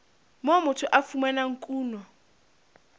moo motho a fumanang kuno